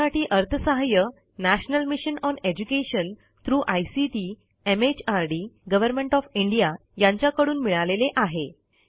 यासाठी अर्थसहाय्य national mission on education through ICT MHRD government of India यांच्याकडून मिळालेले आहे